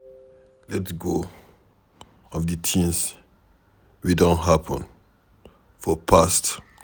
Let go of di things wey don happen for past